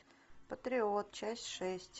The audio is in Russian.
патриот часть шесть